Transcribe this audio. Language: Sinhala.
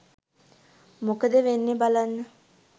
මොකද වෙන්නෙ බලන්න